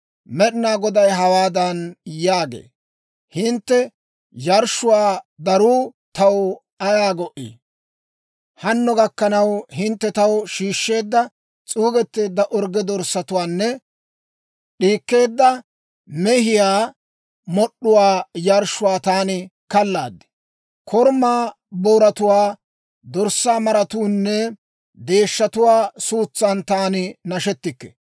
Med'inaa Goday hawaadan yaagee; «Hintte yarshshuwaa daruu taw ayaa go"ii? Hanno gakkanaw hintte taw shiishsheedda s'uugetteedda orgge dorssatuwaanne d'iikkeedda mehiyaa mod'd'uwaa yarshshuwaa taani kallaad; korumaa booratuwaa, dorssaa maratuunne deeshshatuwaa suutsan taani nashettikke.